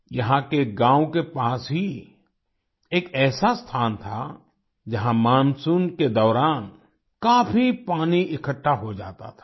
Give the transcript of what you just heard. यहाँ के गाँव के पास ही एक ऐसा स्थान था जहाँ मानसून के दौरान काफी पानी इकट्ठा हो जाता था